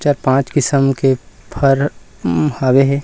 चार पांच किसम के फर हवे हे ।--